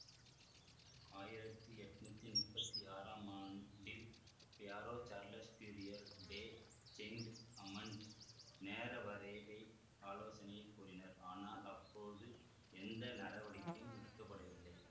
ஆயிரத்தி எட்ணூத்தி முப்பத்தி ஆறாம் ஆண்டில் Pierre Charles Fourier de Saint Amand நேர வரையறை ஆலோசனையைக் கூறினார் ஆனால் அப்போது எந்த நடவடிக்கையும் எடுக்க படவில்லை